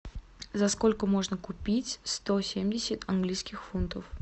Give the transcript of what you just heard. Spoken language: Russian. за сколько можно купить сто семьдесят английских фунтов